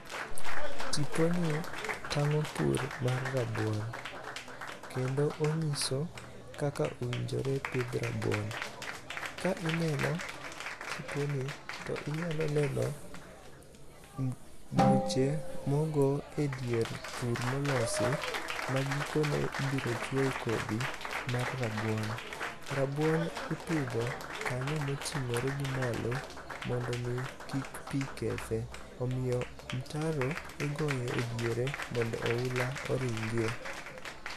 Tiponi, tang'o pur mar rabuon. Kendo onyiso kaka owinjore pidh rabuon. Ka ineno tiponi, to inyalo neno buche mogo e dier thur molosi ma gikone ibiro chwo e kodhi mar rabuon. Rabuon ipidho kanyo moting'ore gi malo mondo mi kik pi kethe. Omiyo mtaro igoyo e diere mondo oula oringie.